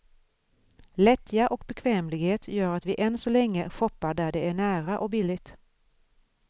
Lättja och bekvämlighet gör att vi än så länge shoppar där det är nära och billigt.